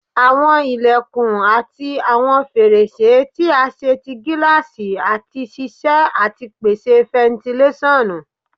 Awọn ilẹkun ati awọn ferese ti a ṣe ti gilasi ati ṣiṣẹ ati pese fentilesonu